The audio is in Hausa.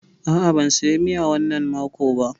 A'a, ban saya miya wannan mako ba.